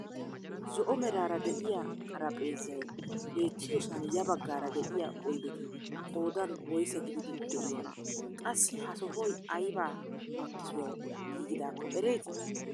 Zo"o meraara de'iyaa xarapheezzay beetiyoosan ya baggaara de'iyaa oydeti qoodan woyssaa gididi de'iyonaa? Qassi ha sohoy ayba makkisuwaawu giigidaako erettii?